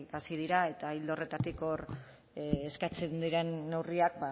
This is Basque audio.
hasi dira eta ildo horretatik hor eskatzen diren neurriak